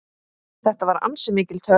Þetta var ansi mikil törn.